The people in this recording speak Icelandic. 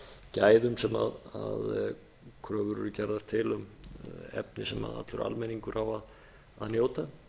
gæðum sem kröfur eru gerðar til um efni sem allur almenningur á að njóta